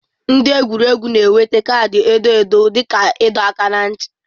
Ndị egwuregwu na-enweta kaadị edo edo dị ka ịdọ aka ná ntị.